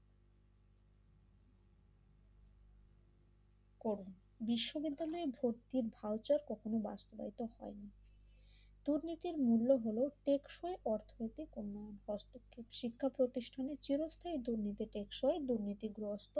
করেন বিশ্ববিদ্যালয় ভর্তির ভাউচারটি কখনো বাস্তবায়িত হয়নি দুর্নীতির মূল্য হল টেকসই অর্থনৈতিক উন্নয়ন হস্তক্ষেপ শিক্ষা প্রতিষ্ঠানের চিরস্থায়ী দুর্নীতির টেকসই দুর্নীতি গ্রস্থ।